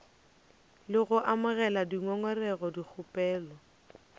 le go amogela dingongorego dikgopelo